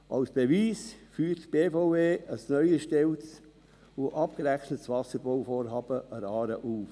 Als Beweis führt die BVE ein neu erstelltes und abgerechnetes Bauvorhaben an der Aare auf.